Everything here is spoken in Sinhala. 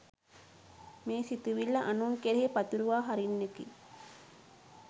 මේ සිතුවිල්ල අනුන් කෙරෙහි පතුරුවා හරින්නකි.